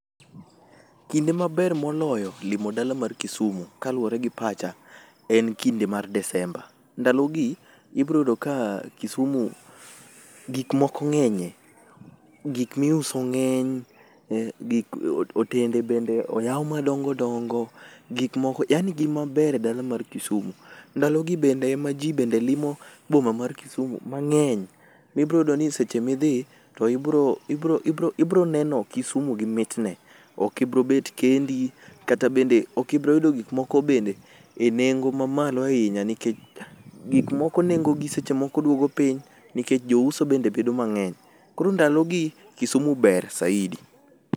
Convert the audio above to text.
Kinde maber moloyo limo dala mar Kisumu, kaluore gi pacha, en kinde mar Desemba. Ndalo gi, ibro yudo ka Kisumu gik moko ng'enye, gik miuso ng'eny eh gik o otende bende oyau madongo dongo, gik moko yani gin maber e dala mar Kisumu. Ndalo gi bende emajii bende limo boma mar Kisumu mang'eny, mibroyudo ni seche midh,i to ibro ibro ibro neno Kisumu gi mitne. Okibro bet kendi, kata bende okibro yudo gik moko bende e nengo mamalo ahinya nikech gik moko nengo gi seche moko duogo piny nikech jouso bende bedo mang'eny. Koro ndalo gi, Kisumu ber saidi.